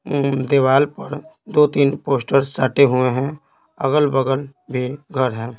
अ दीवाल पर दो-तीन पोस्टर साटे हुए हैं अगल-बगल भी घर हैं।